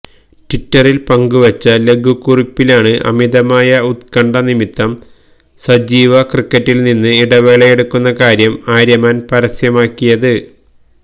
ട്വിറ്ററിൽ പങ്കുവെച്ച ലഘു കുറിപ്പിലാണ് അമിതമായ ഉത്കണ്ഠ നിമിത്തം സജീവ ക്രിക്കറ്റിൽനിന്ന് ഇടവേളയെടുക്കുന്ന കാര്യം ആര്യമാൻ പരസ്യമാക്കിയത്